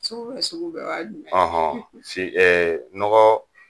Sugu bɛɛ sugu bɛɛ o y'a jumɛn ye? nɔgɔ